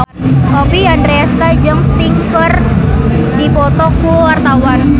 Oppie Andaresta jeung Sting keur dipoto ku wartawan